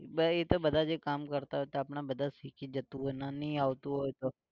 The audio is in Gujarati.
બે ઇ તો બધા જે કામ કરતા હોય તો આપણે બધા સીખી જતું હોય ના નહિ આવતું હોય તો